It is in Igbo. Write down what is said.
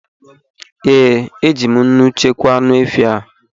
Ee, eji m nnu chekwaa anụ efi a